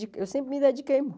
Eu sempre me dediquei